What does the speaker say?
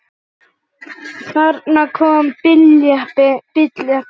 Þarna kom bíll, jeppi.